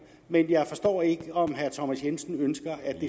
men jeg forstår ikke om herre thomas jensen ønsker at det